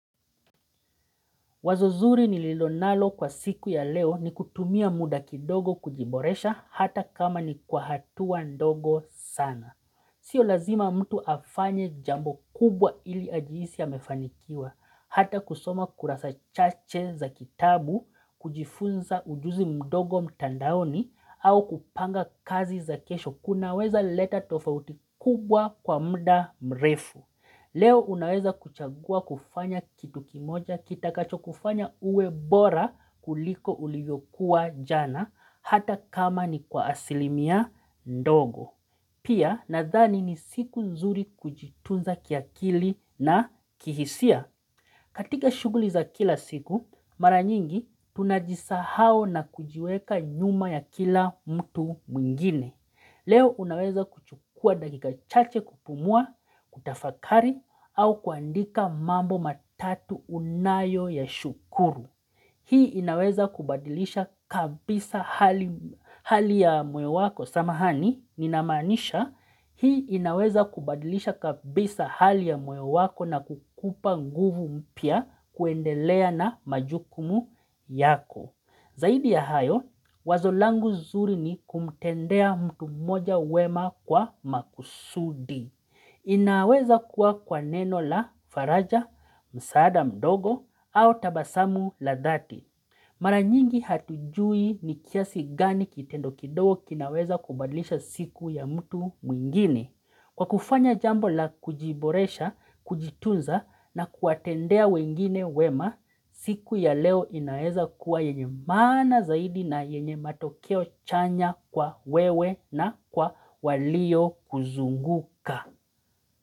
Wazozuri ni lilo nalo kwa siku ya leo ni kutumia muda kidogo kujiboresha hata kama ni kwa hatuwa ndogo sana. Sio lazima mtu afanye jambo kubwa ili ajihisi amefanikiwa. Hata kusoma kurasa chache za kitabu, kujifunza ujuzi mdogo mtandaoni, au kupanga kazi za kesho kunaweza leta tofauti kubwa kwa muda mrefu. Leo unaweza kuchagua kufanya kitu kimoja kita kacho kufanya uwe bora kuliko uliyokuwa jana hata kama ni kwa asilimia ndogo. Pia na dhani ni siku nzuri kujitunza kiakili na kihisia. Katika shughuli za kila siku maranyingi tunajisa hao na kujiweka nyuma ya kila mtu mwingine. Leo unaweza kuchukua dakika chache kupumua, kutafakari au kuandika mambo matatu unayo ya shukuru. Hii inaweza kubadilisha kabisa hali ya mwe wako. Samahani, ninamanisha, hii inaweza kubadilisha kabisa hali ya mwe wako na kukupa nguvu mpia kuendelea na majukumu yako. Zaidi ya hayo, wazolangu zuri ni kumtendea mtu mmoja wema kwa makusudi. Inaweza kuwa kwa neno la faraja, msaada mdogo, au tabasamu la dhati. Maranyingi hatujui ni kiasi gani kitendo kidogo kinaweza kubadlisha siku ya mtu mwingine. Kwa kufanya jambo la kujiboresha, kujitunza na kuatendea wengine wema, siku ya leo inaeza kuwa yenye maana zaidi na yenye matokeo chanya kwa wewe na kwa walio kuzunguka.